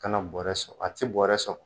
Kana bɔrɛ sɔgɔ a tɛ bɔrɛ